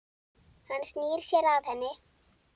Hann snýr sér að henni.